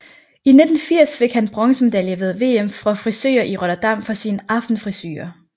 I 1980 fik han en bronzemedalje ved VM for frisører i Rotterdam for sin Aftenfrisure